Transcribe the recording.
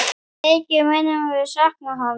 Mikið munum við sakna hans.